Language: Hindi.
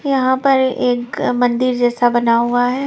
यहाँ पर एक मंदिर जैसा बना हुआ है।